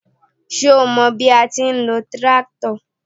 Ṣo mọ bí a ti ń lo tíráktọ̀?